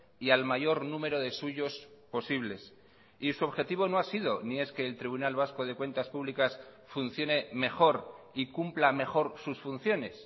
y al mayor número de suyos posibles y su objetivo no ha sido ni es que el tribunal vasco de cuentas públicas funcione mejor y cumpla mejor sus funciones